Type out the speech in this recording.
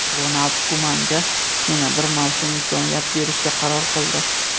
Ronald Kumanga yana bir mavsum imkoniyat berishga qaror qildi.